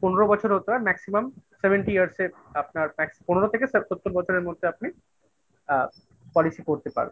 পনেরো বছর হতে হয় Maximum Seventy Years এর আপনার পনেরো থেকে ষাট সত্তর বছরের মধ্যে আপনি আ policy করতে পারবেন।